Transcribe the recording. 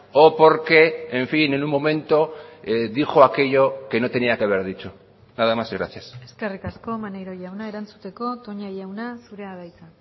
o porque en fin en un momento dijo aquello que no tenía que haber dicho nada más y gracias eskerrik asko maneiro jauna erantzuteko toña jauna zurea da hitza